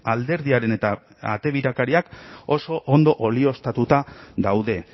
alderdiaren eta ate birakariak oso ondo olioztatuta daude